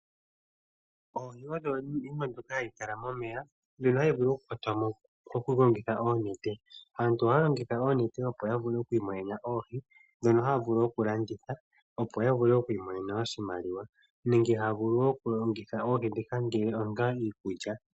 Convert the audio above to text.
Oohi odho iinima mbyoka hayi kala momeya mbyono hayi vulu oku kwatwamo okulongitha oonete. Aantu ohaya longitha oonete opo ya vule oku kwata oohi, ndhono haya vulu wo okulanditha, opo ya vule oku imonena oshimaliwa nenge haya vulu wo oku longitha oohi ndhika onga iikulya.